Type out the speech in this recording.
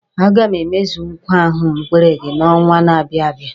A ga m emezu nkwa ahụ m kwere gị n'ọnwa na-abia abịa.